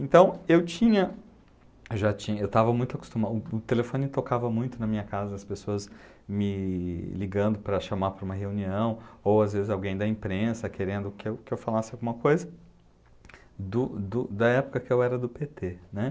Então, eu tinha, ja tinha, eu estava muito acostumado, o telefone tocava muito na minha casa, as pessoas me ligando para chamar para uma reunião, ou às vezes alguém da imprensa querendo que eu que eu falasse alguma coisa, do do da época que eu era do pê tê, né?